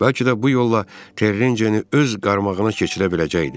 Bəlkə də bu yolla Terecini öz qarmağına keçirə biləcəkdi.